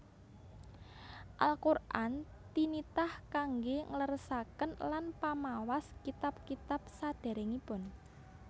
Al Qur an tinitah kangge ngleresaken lan pamawas kitab kitab saderengipun